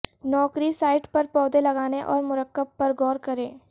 نوکری سائٹ پر پودے لگانے اور مرکب پر غور کریں